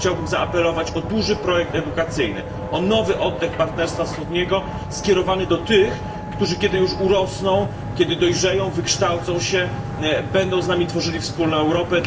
Chciałbym zaapelować o duży projekt edukacyjny, o nowy oddech Partnerstwa Wschodniego skierowany do tych, którzy kiedy już urosną, kiedy dojrzeją, wykształcą się, będą z nami tworzyli wspólną Europę.